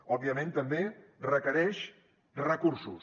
òbviament també requereix recursos